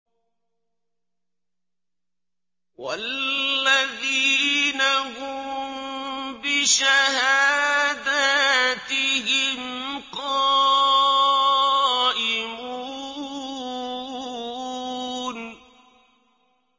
وَالَّذِينَ هُم بِشَهَادَاتِهِمْ قَائِمُونَ